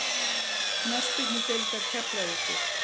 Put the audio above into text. Knattspyrnudeildar Keflavíkur